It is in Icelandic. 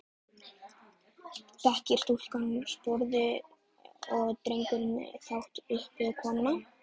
Greikkar stúlkan sporið og dregur brátt uppi konuna.